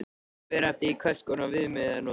Það fer eftir því hvers konar viðmið er notað.